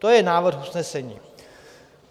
To je návrh usnesení.